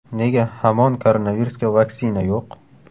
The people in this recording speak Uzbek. Nega hamon koronavirusga vaksina yo‘q?